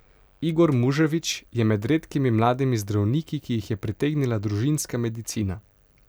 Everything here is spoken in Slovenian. Igor Muževič je med redkimi mladimi zdravniki, ki jih je pritegnila družinska medicina.